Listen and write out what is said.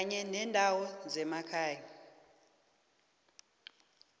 kanye nendawo zemakhaya